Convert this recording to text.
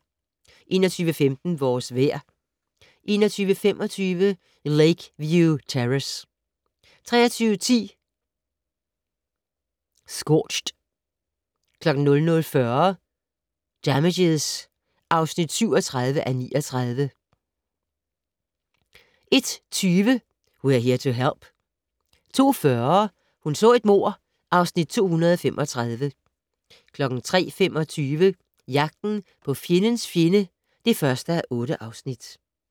21:15: Vores vejr 21:25: Lakeview Terrace 23:10: Scorched 00:40: Damages (37:39) 01:20: We're Here to Help 02:40: Hun så et mord (Afs. 235) 03:25: Jagten på fjendens fjende (1:8)